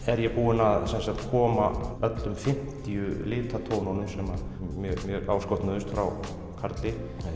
er ég búinn að koma öllum fimmtíu litatónunum sem mér áskotnuðust frá Karli